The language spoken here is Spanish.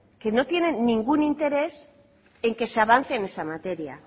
que no tiene ningún interés en que se avance en esa materia